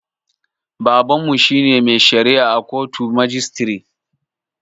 Babanmu shine mai shari'a a kotun majistire